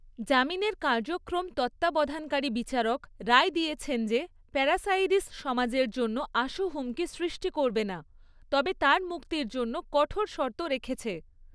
জামিনের কার্যক্রম তত্ত্বাবধানকারী বিচারক রায় দিয়েছেন যে প্যারাসাইরিস সমাজের জন্য আশু হুমকি সৃষ্টি করবে না, তবে তার মুক্তির জন্য কঠোর শর্ত রেখেছে।